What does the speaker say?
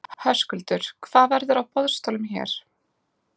Höskuldur: Hvað verður á boðstólum hér?